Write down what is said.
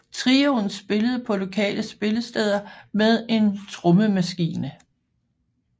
Trioen spillede på lokale spillesteder med en trommemaskine